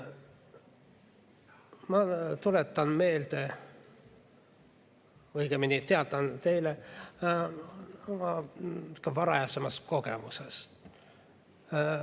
Ma tuletan meelde, õigemini teatan teile oma varasemast kogemusest.